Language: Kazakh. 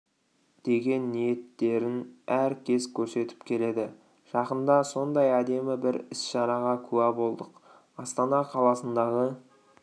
деген ниеттерін әр кез көрсетіп келеді жақында сондай әдемі бір іс-шараға куә болдық астана қаласындағы